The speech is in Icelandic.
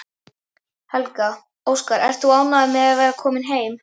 Helga: Óskar, ert þú ánægður með að vera kominn heim?